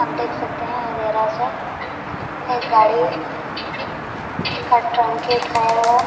आप देख सकते है यह गैराज़ है एक गाड़ी का का टंकी उठाया हुआ है।